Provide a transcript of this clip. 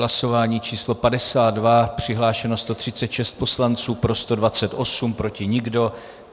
Hlasování číslo 52, přihlášeno 136 poslanců, pro 128, proti nikdo.